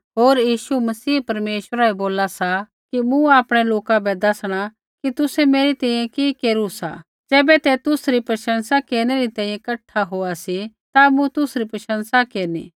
होर मसीह परमेश्वरा बै बोला सा कि मूँ आपणै लोका बै दैसणा कि तुसै मेरी तैंईंयैं कि केरू सा ज़ैबै तै तुसरी प्रशंसा केरनै री तैंईंयैं कठा होआ सी ता मूँ तुसरी प्रशंसा केरनी